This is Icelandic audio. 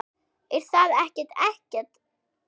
Er það ekki Eggert?